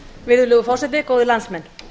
virðulegur forseti góðir landsmenn